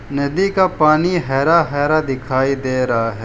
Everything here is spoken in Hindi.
नदी का पानी हरा हरा दिखाई दे रहा है।